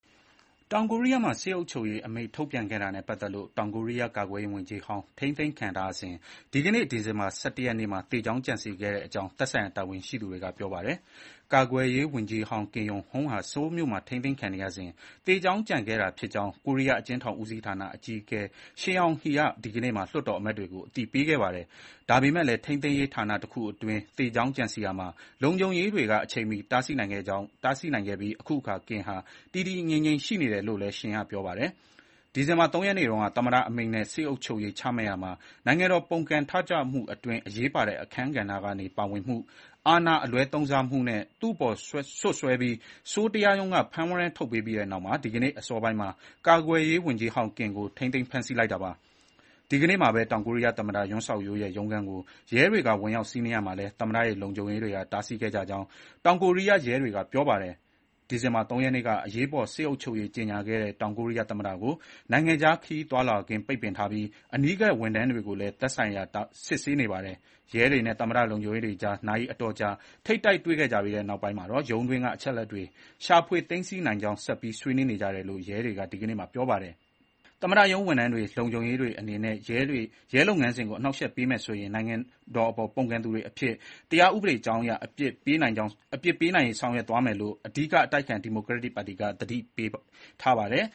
တောင်ကိုရီးယားမှာ စစ်အုပ်ချုပ်ရေးအမိန့်ထုတ်ပြန်ခဲ့တာနဲ့ပတ်သက်လို့ ထိန်းသိမ်းခံထားရတဲ့ တောင်ကိုရီးယား ကာကွယ်ရေးဝန်ကြီးဟောင်းဟာ ဒီကနေ့မှာ သေကြောင်းကြံစည်ခဲ့ကြောင်း သက်ဆိုင်ရာတာဝန်ရှိသူတွေက ပြောပါတယ်။ ကာကွယ်ရေးဝန်ကြီးဟောင်း Kim Yong-hyun (ကင် ရုံဟန်) ဟာ ဆိုးလ်မြို့မှာ ထိန်းသိမ်းခံနေရစဥ် သေကြောင်းကြံခဲ့တာဖြစ်ကြောင်း ကိုရီးယား အကျဥ်းထောင်ဦးစီးဌာန အကြီးအကဲ Shin Yong Hae (ရှင် ရုံဟေး) က ဒီကနေ့မှာ လွှတ်တော်အမတ်တွေကို အသိပေးခဲ့ပါတယ်။ ဒါပေမယ့်လည်း ထိန်းသိမ်း ရေးဌာနတခုအတွင်း သေကြောင်းကြံစည်ရာမှာ လုံခြုံရေးတွေက အချိန်မီတားဆီးနိုင်ခဲ့ပြီး ခုအခါ Kim ဟာ တည်တည်ငြိမ်ငြိမ် ရှိနေတယ်လို့လည်း Shin က ပြောပါတယ်။ ဒီဇင်ဘာ ၃ ရက်နေ့တုန်းက သမ္မတအမိန့်နဲ့ စစ်အုပ်ချုပ်ရေးချမှတ်ရာမှာ နိုင်ငံတော်ပုန်ကန်ထကြွမှု အတွင်း အရေးပါတဲ့အခန်းဂဏ္ဍကနေ ပါဝင်မှု၊ အာဏာအလွဲသုံးစားမှုနဲ့ သူ့အပေါ် စွပ်စွဲပြီး ဆိုးလ် တရားရုံးက ဖမ်းဝရမ်းထုတ်ပေးပြီးနောက် ဒီကနေ့အစောပိုင်းမှာ ကာကွယ်ရေးဝန်ကြီးဟောင်း Kim ကို ထိန်းသိမ်းဖမ်းဆီးလိုက်တာပါ။ ဒီကနေ့မှာပဲ တောင်ကိုရီးယား သမ္မတ Yoon Suk Yeol (ယွန် စက်ခ် ရိုးလ်) ရဲ့ ရုံးခန်းကို ရဲတွေက ဝင်ရောက်စီးနင်းရာမှာလည်း သမ္မတရဲ့ လုံခြုံရေးတွေက တားဆီးခဲ့ကြကြောင်း တောင်ကိုရီးယား ရဲတွေက ပြောပါတယ်။ ဒီဇင်္ဘာ ၃ ရက်နေ့က အရေးပေါ် စစ်အုပ်ချုပ်ရေး ကြေညာခဲ့တဲ့ တောင်ကိုရီးယားသမ္မတကို နိုင်ငံခြားခရီးသွားလာခွင့် ပိတ်ပင်ထားပြီး အနီးကပ် ဝန်ထမ်းတွေကိုလည်း သက်ဆိုင်ရာ စစ်ဆေးနေတာပါ။ ရဲတွေနဲ့ သမ္မတရုံးလုံခြုံရေးတွေကြား နာရီအတော်ကြာ ထိပ်တိုက် တွေ့ခဲ့ကြပြီးနောက် ရုံးတွင်းက အချက်အလက်တွေ ရှာဖွေသိမ်းဆည်းနိုင်ရေး ဆက်ပြီး ဆွေးနွေးနေကြတယ်လို့ ရဲတွေက ဒီညနေမှာ ပြောပါတယ်။ သမ္မတရုံး ဝန်ထမ်းတွေ၊ လုံခြုံရေးတွေအနေနဲ့ ရဲလုပ်ငန်းစဥ်ကို အနှောင့်အယှက်ပေးမယ်ဆိုရင် နိုင်ငံတော်အပေါ် ပုန်ကန်သူတွေအဖြစ် တရားဥပဒေကြောင်းအရ အပြစ်ပေးနိုင်ရေး ဆောင်ရွက်သွား မယ်လို့ အဓိကအတိုက်အခံ ဒီမိုကရက်တစ်ပါတီက သတိပေးထားပါတယ်